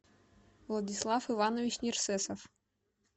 владислав иванович нерсесов